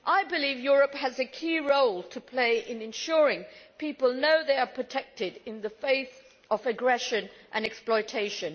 I believe Europe has a key role to play in ensuring people know they are protected in the face of aggression and exploitation.